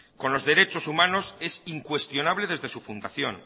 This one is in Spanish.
con los derechos humanos es incuestionable desde su fundación